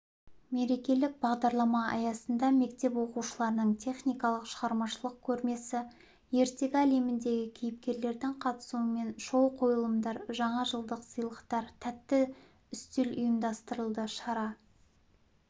мерекелік бағдарлама аясында мектеп оқушыларының техникалық шығармашылық көрмесі ертегі әлеміндегі кейіпкерлердің қатысуымен шоу-қойылымдар жаңажылдық сыйлықтар тәтті үстелұйымдастырылды шара